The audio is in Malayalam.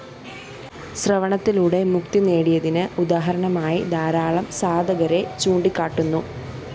ശ്രവണത്തിലൂടെ മുക്തി നേടിയതിന് ഉദാഹരണമായി ധാരാളം സാധകരെ ചൂണ്ടിക്കാട്ടുന്നു